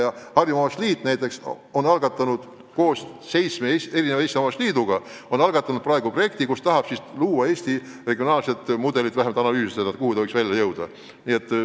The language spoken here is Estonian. Harjumaa Omavalitsuste Liit näiteks on algatanud koos seitsme Eesti omavalitsusliiduga projekti, mille raames tahetakse luua Eesti regionaalne mudel või vähemalt analüüsida, kuhu see võiks välja jõuda.